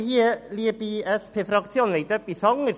Sie, liebe SP-Fraktion, wollen etwas Anderes: